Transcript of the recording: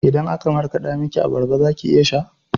Idan aka markaɗa miki abarba zaki iya sha?